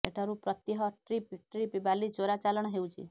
ଏଠାରୁ ପ୍ରତହ୍ୟ trip trip ବାଲି ଚୋରା ଚାଲାଣ ହେଉଛି